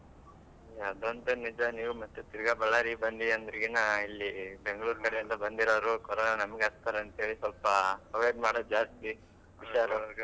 ಹಾ ಅದು ಅಂತು ನಿಜ ನೀವ್ ಮತ್ ತಿರ್ಗಾ Ballari ಗೆ ಬಂದ್ರೆ ಇನ್ನಾ ಇಲ್ಲಿ Bangalore ಕಡೆಯಿಂದ ಬಂದಿರೋ ಕೊರೋನಾ ನಮ್ಗೆ ಹಚ್ತಾರೆ ಅಂತೇಳಿ ಸಲ್ಪ avoid ಮಾಡೋದು ಜಾಸ್ತಿ ಹುಷಾರು.